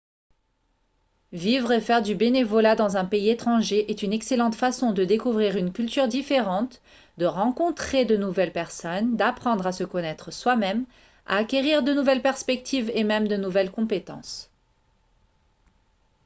vivre et faire du bénévolat dans un pays étranger est une excellente façon de découvrir une culture différente de rencontrer de nouvelles personnes d'apprendre à se connaître soi-même à acquérir de nouvelles perspectives et même de nouvelles compétences